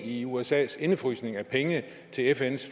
i usas indefrysning af penge til fns